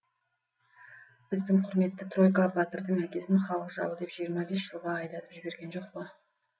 біздің құрметті тройка батырдың әкесін халық жауы деп жиырма бес жылға айдатып жіберген жоқ па